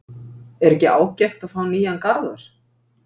Er ekki ágætt að fá nýjan Garðar?